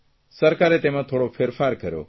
સરકારે તેમાં થોડો ફેરફાર કર્યો